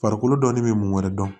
Farikolo dɔɔnin bɛ mun wɛrɛ dɔn